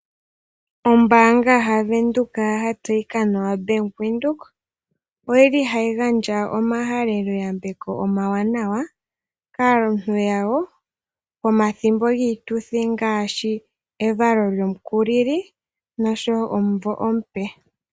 Ombaanga ya Windhoek ya tseyika nawa Bank Windhoek ohayi gandja omahalelo yambeko omawanawa kaalongithi yayo pomathimbo giituthi ngaashi evalo lyomukulili noshowo omumvo omupe.